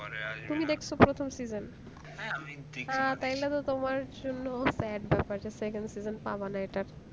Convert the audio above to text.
তুমি দেখছো প্রথম season তাইলেতো তোমার জন্য sad ব্যাপার যে second season পাবেনা এটার